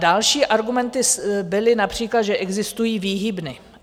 Další argumenty byly například, že existují výhybny.